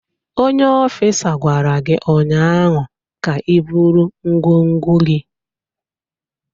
Onye ofịsa gwara gị ụnyaahụ ka iburu ngwongwo gị!